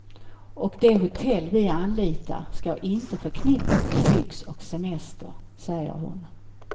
Och de hotell vi anlitar ska inte förknippas med lyx och semester, säger hon.